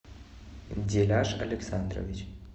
деляж александрович